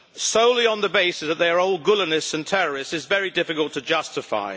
solely on the basis that they are old Gülenists and terrorists is very difficult to justify.